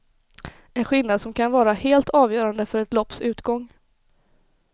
En skillnad som kan vara helt avgörande för ett lopps utgång.